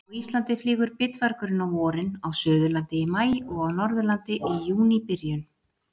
Á Íslandi flýgur bitvargurinn á vorin, á Suðurlandi í maí og á Norðurlandi í júníbyrjun.